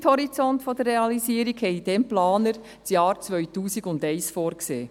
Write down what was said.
Als Zeithorizont für die Realisierung sahen die Planer damals das Jahr 2001 vor.